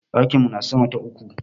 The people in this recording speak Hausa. Ɗakin mu na sama ta uku.